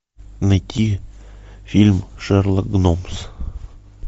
найти фильм шерлок гномс